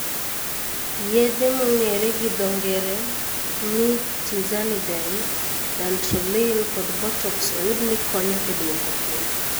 Yedhe mong'ere gi dho ng'ere ni Tizanidine ,dantrolene kod Botox oyud ni konyo e dwoko piny